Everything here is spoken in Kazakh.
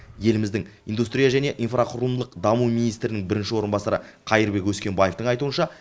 еліміздің индустрия және инфрақұрылымдық даму министрінің бірінші орынбасары қайырбек өскенбаевтың айтуынша